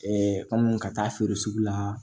kɔmi ka taa feere sugu la